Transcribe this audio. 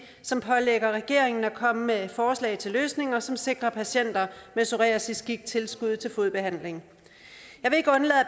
som pålægger regeringen at komme med forslag til løsninger som sikrer patienter med psoriasisgigt tilskud til fodbehandling